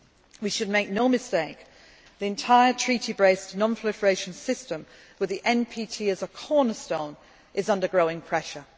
outcome. We should make no mistake the entire treaty based non proliferation system with the NPT as a cornerstone is under growing